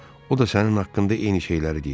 O da sənin haqqında eyni şeyləri deyir.